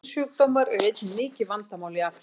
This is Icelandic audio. Kynsjúkdómar eru einnig mikið vandamál í Afríku.